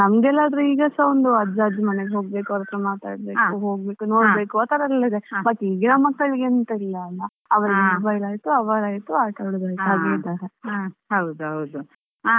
ಹೌದು ನಂಗೆಲ್ಲ ಆದ್ರೆ ಈಗಸ ಒಂದು ಅಜ್ಜ ಅಜ್ಜಿ ಮನೆಗೆ ಹೋಗ್ಬೇಕು ಅವರತ್ರ ಮಾತಾಡ್ಬೇಕು ಹೋಗ್ಬೇಕು ನೋಡ್ಬೇಕು ಆತರೆಲ್ಲಾ ಇದೆ but ಈಗಿನ ಮಕ್ಕಳಿಗೆ ಎಂತಾ ಇಲ್ಲಲ್ಲಾ ಅವರಾಯಿತು ಆಟವಾಡುದಾಯ್ತು.